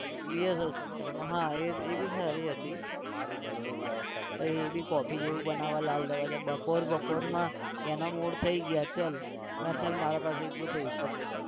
VS Hospital માં હા એ એ भी સારી હતી તો એ भीcoffee જેવું બનાવે લાલ દરવાજા બપોર બપોરમાં એનો mood થઇ ગયો ચલ ના ચલ મારા પાસે એટલો પૈસો છે.